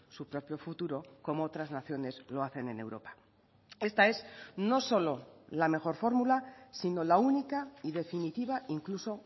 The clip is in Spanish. su propio futuro como otras naciones lo hacen en europa esta es no solo la mejor fórmula sino la única y definitiva incluso